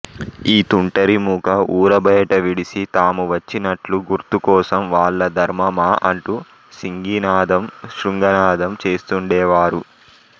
ఈతుంటరిమూక ఊరుబయట విడిసి తామువచ్చినట్లు గుర్తుకోసం వాళ్ళధర్మమా అంటూ సింగినాదం శృంగనాదం చేస్తూండేవారు